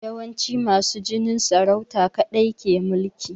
Yawanci masu jinin saurauta kaɗai ke mulki